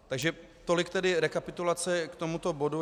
Takže tolik tedy rekapitulace k tomuto bodu.